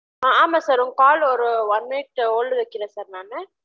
அஆமா sir உங்க call ஒரு one minute hold ல வைகிரேன் sir நானு